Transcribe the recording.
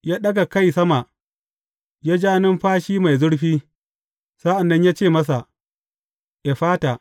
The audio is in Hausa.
Ya ɗaga kai sama, ya ja numfashi mai zurfi, sa’an nan ya ce masa, Effata!